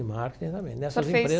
Em marketing também, nessas empresas.